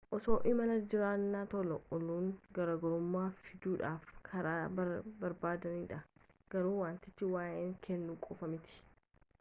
osoo imalarra jiranii tola ooluun garaagarummaa fiduudhaaf karaa bareedaadha garuu wantichi waa'eema kennuu qofaa miti